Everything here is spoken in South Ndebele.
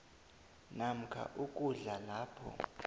namkha ukudlula lapho